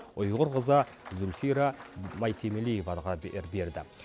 ұйғыр қызы зульфира маисемелиеваға берді